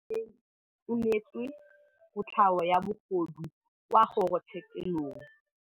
Rragwe o neetswe kotlhaô ya bogodu kwa kgoro tshêkêlông.